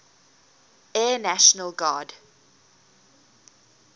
air national guard